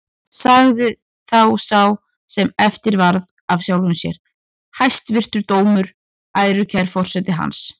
Sagði þá sá sem eftir varð af sjálfum sér: Hæstvirtur dómur, ærukær forseti hans!